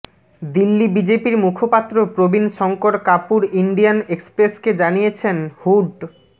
দিল্লি বিজেপির মুখপাত্র প্রবীণ শঙ্কর কাপুর ইন্ডিয়ান এক্সপ্রেসকে জানিয়েছেন হুড